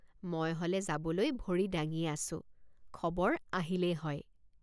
মই হলে যাবলৈ ভৰি দাঙিয়েই আছোঁ খবৰ আহিলেই হয়।